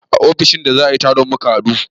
A ofishin da za a yi taro muka haɗu